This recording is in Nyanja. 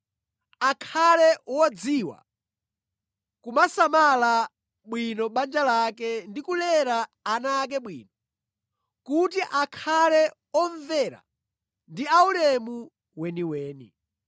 Akhale wodziwa kusamala bwino banja lake ndi kulera ana ake bwino, kuti akhale omvera ndi aulemu weniweni.